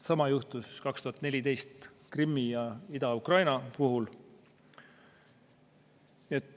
Sama juhtus 2014. aastal Krimmi ja Ida-Ukraina puhul.